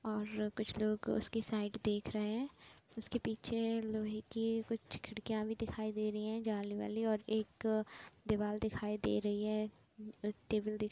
और कुछ लोग उसकी साइड देख रहे हैं जिस के पीछे लोहे की कुछ खिड़कियां भी दिखाई दे रहीं हैं जाली वाली और एक दीवाल दिखाई दे रही है टेबल दिख --